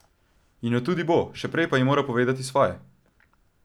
In jo tudi bo, še prej pa ji mora povedati svoje.